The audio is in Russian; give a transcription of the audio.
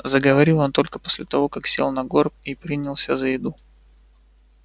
заговорил он только после того как сел на горб и принялся за еду